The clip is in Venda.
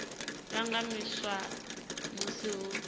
lwa nga shumiswa musi hu